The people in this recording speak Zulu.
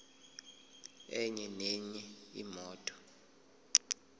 enye nenye imoto